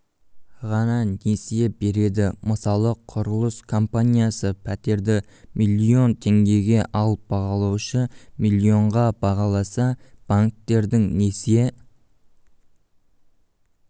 ғана несие береді мысалы құрылыс компаниясы пәтерді миллион теңгеге ал бағалаушы миллионға бағаласа банктердің несие